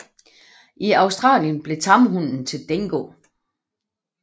I Australien blev tamhunden til dingo